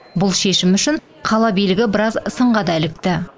бұл шешім үшін қала билігі біраз сынға да ілікті